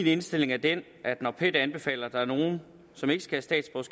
indstilling var den at når pet anbefaler at der er nogle som ikke skal